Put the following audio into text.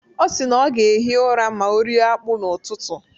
Ọ si na ọ ga-ehi ụra ma ọ rie akpu n'ụtụtụ.